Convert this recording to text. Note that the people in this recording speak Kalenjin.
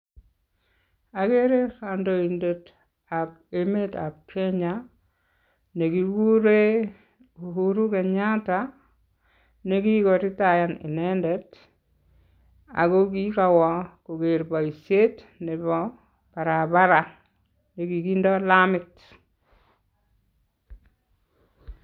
Ageere kandoidetab emetab Kenya nekikure Uhuru Kenyatta nekikoritayan inendet aki kikawo koker boisiet nebo barabara nekikindoi lamit.